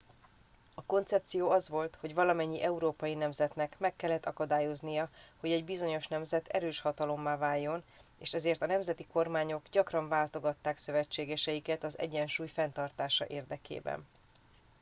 a koncepció az volt hogy valamennyi európai nemzetnek meg kellett akadályoznia hogy egy bizonyos nemzet erős hatalommá váljon és ezért a nemzeti kormányok gyakran váltogatták szövetségeiket az egyensúly fenntartása érdekében